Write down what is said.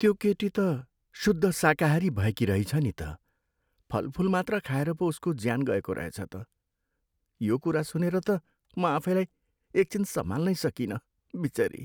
त्यो केटी त शुद्ध शाकाहारी भएकी रहिछ नि त। फलफुल मात्र खाएर पो उसको ज्यान गएको रहेछ त। यो कुरा सुनेर त म आफैलाई एक छिन सम्हाल्नै सकिनँ। बिचरी!